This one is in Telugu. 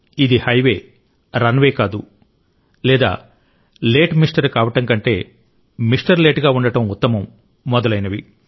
ఇది హైవే రన్వే కాదు లేదా లేట్ మిస్టర్ కావడం కంటే మిస్టర్ లేట్ గా ఉండడం ఉత్తమం మొదలైనవి